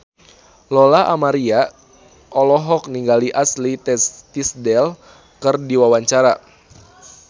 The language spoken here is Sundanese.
Lola Amaria olohok ningali Ashley Tisdale keur diwawancara